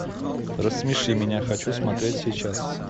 рассмеши меня хочу смотреть сейчас